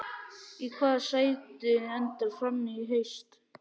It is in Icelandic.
Í hvaða sæti endar Fram í haust?